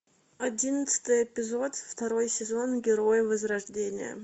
одиннадцатый эпизод второй сезон герои возрождения